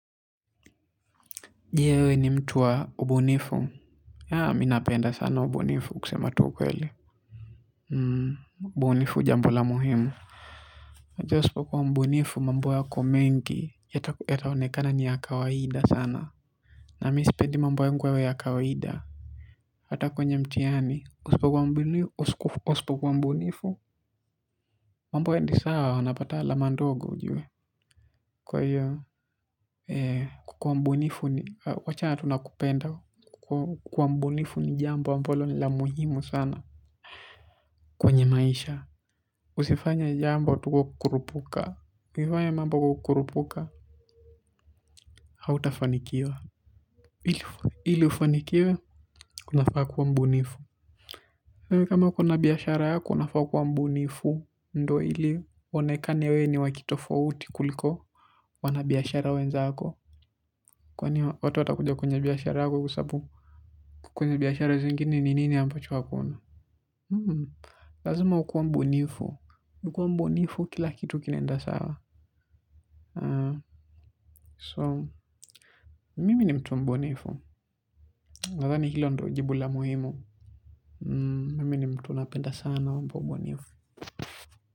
Je we ni mtuwa mbunifu. Haa minapenda sana mbunifu kusema tu ukweli. Mbunifu jambula muhimu. Hati uspo kuwa mbunifu mambo ya kumengi yataonekana ni ya kawahida sana. Na mi sipendi mambo yangu yawe ya kawahida. Hatako nje mtiani uspokuwa mbunifu. Mambo ye ndisawa unapata alamandogo ujuwe. Kwa hiyo kuwa mbunifu ni wachana tunakupenda. Kuwa mbunifu ni jambo ammbalo ni lamuhimu sana kwenye maisha usifanye mambo tu kwa kurupuka hautafanikiwa ili ufanikiwe unafaa kuwa mbunifu kwa hivo kaa uko na biashara yako unafaa kuwa mbunifu. Ndo ili onekane we ni wakitofauti kuliko wanabiyashara wenzako. Kwani watu watakuja kwenye biyashara yako. Kwenye biyashara zingini nini nini ambacho wakona. Lazima ukua mbunifu. Ukua mbunifu kila kitu kinenda sawa so mimi ni mtu wa mbunifu nadhani hilo ndi jibu la muhimu.